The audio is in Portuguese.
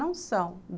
Não são.